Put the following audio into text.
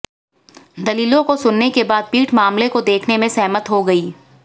दलीलों को सुनने के बाद पीठ मामले को देखने पर सहमत हो गई